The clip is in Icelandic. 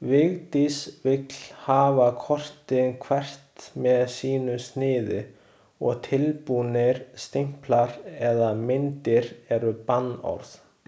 Vigdís vill hafa kortin hvert með sínu sniði og tilbúnir stimplar eða myndir eru bannorð.